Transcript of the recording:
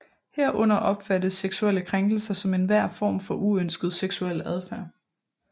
Herunder opfattes seksuelle krænkelser som enhver form for uønsket seksuel adfærd